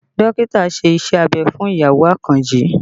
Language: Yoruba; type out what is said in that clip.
Dókítà ṣe Iṣẹ́ abẹ fún ìyàwó Àkànjí